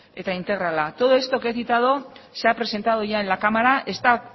eta integrala todo esto que he citado se ha presentado ya en la cámara está